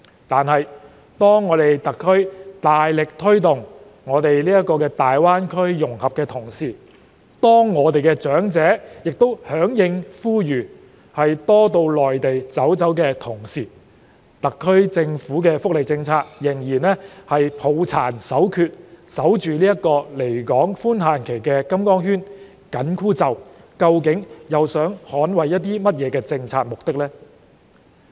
然而，當特區大力推動大灣區融合，我們的長者也響應呼籲，多到內地走走的時候，特區政府的福利政策仍然抱殘守缺，緊守這個離港寬限期的金剛圈、緊箍咒，究竟是要捍衞甚麼政策目的呢？